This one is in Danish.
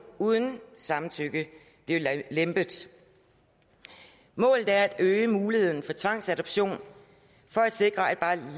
uden samtykke blive lempet målet er at øge muligheden for tvangsadoption for at sikre at bare